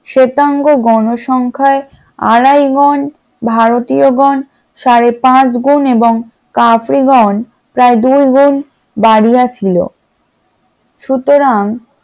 শ্বেতাঙ্গ গণ সংখ্যায় আড়াইগণ ভারতীয় গন সাড়ে পাঁচ গুণে এবং আফ্রিকা গন প্রায় দুই গুণ বাড়িয়া ছিল । সুতরাং